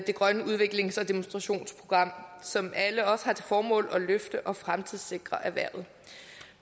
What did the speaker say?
grønne udviklings og demonstrationsprogram som alle også har til formål at løfte og fremtidssikre erhvervet